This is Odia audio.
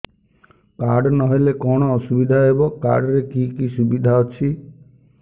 କାର୍ଡ ନହେଲେ କଣ ଅସୁବିଧା ହେବ କାର୍ଡ ରେ କି କି ସୁବିଧା ଅଛି